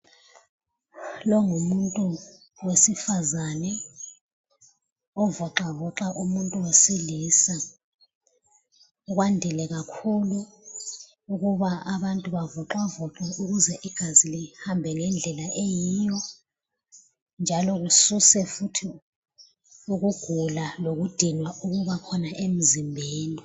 Lo ngumuntu wesifazane ovoxa voxa umuntu wesilisa kwandile kakhulu ukuba abantu bavoxa voxwe ukuze igazi lihambe ngendlela eyiyo, njalo kususwe futhi ukugula lokudinwa okubakhona emzimbeni.